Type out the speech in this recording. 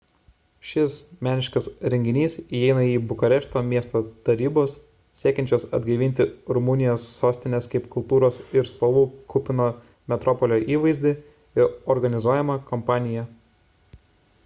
šis meniškas renginys įeina į bukarešto miesto tarybos siekiančios atgaivinti rumunijos sostinės kaip kultūros ir spalvų kupino metropolio įvaizdį organizuojamą kampaniją